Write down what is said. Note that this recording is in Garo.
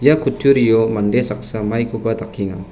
ia kutturio mande saksa maikoba dakenga.